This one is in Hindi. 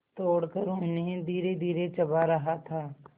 तोड़कर उन्हें धीरेधीरे चबा रहा था